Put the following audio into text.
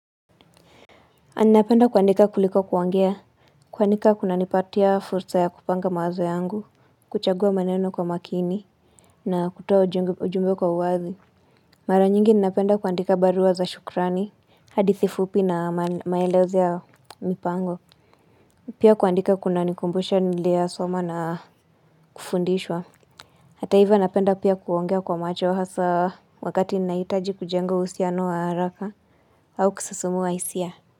A ninapenda kuandika kuliko kuongea. Kuandika kuna nipatia fursa ya kupanga mawazo yangu. Kuchagua maneno kwa makini na kutoa ujumbe kwa uwazi. Mara nyingi ninapenda kuandika barua za shukrani. Hadithi fupi na maelezo ya mipango. Pia kuandika kuna nikumbusha nilioyasoma na kufundishwa. Hata hivo napenda pia kuongea kwa macho hasa wakati ninaitaji kujenga uhusiano wa haraka au kusisimua hisia.